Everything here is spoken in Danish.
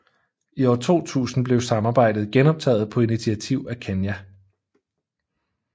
I år 2000 blev samarbejdet genoptaget på initiativ af Kenya